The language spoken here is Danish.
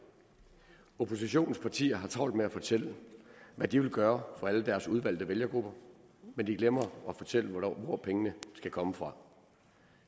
oppositionens partier har travlt med at fortælle hvad de vil gøre for alle deres udvalgte vælgergrupper men de glemmer at fortælle hvor pengene skal komme fra